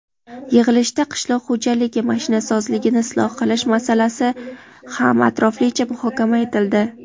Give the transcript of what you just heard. Yig‘ilishda qishloq xo‘jaligi mashinasozligini isloh qilish masalasi ham atroflicha muhokama etildi.